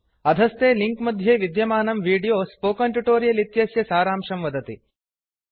अधस्थे लिंक मध्ये विद्यमानं वीडियो स्पोकन ट्युटोरियल् इत्यस्य सारांशं वदति